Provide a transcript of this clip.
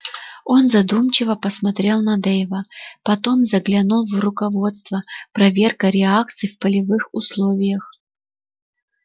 он задумчиво посмотрел на дейва потом заглянул в руководство проверка реакций в полевых условиях